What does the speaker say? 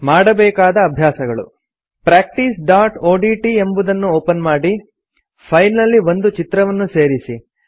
ಮಾಡಬೇಕಾದ ಅಭ್ಯಾಸಗಳು160 practiceಒಡಿಟಿ ಎಂಬುದನ್ನು ಒಪನ್ ಮಾಡಿ ಫೈಲ್ ನಲ್ಲಿ ಒಂದು ಚಿತ್ರವನ್ನು ಸೇರಿಸಿ